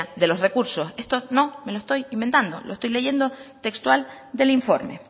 de los recursos estos no me lo estoy inventando lo estoy leyendo textual del informe